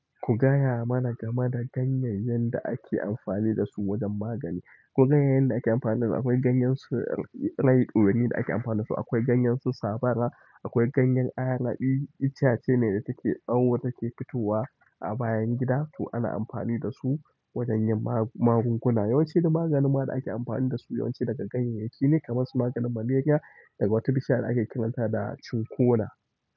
Ku gaya mana game da ganyayyen da ake amfani da su wajen magani. Ku gaya yanda ake amfani da. Akwai ganyen su ɗorayi ɗorayi da ake amfani da su, akwai ganyen su sabala, akwai ganyen ayaba, itace ne da take awo take fitowa a bayan gida to ana amfani da su wajen yin magunguna. Yawanci duk maganin da ake amfani da su yawanci daga ganyayyaki ne kamar su maganin maleriya daga wata bishiya da ake kiranta da cinƙona.